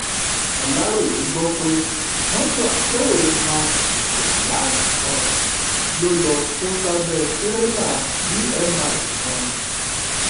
aláròye gbọ pé mọtò akérò mark hiace kan ló lọọ kó sábẹ tìrẹlà bmi kan